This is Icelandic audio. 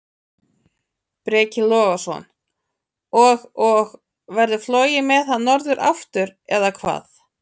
Breki Logason: Og, og verður flogið með hann norður aftur, eða hvað?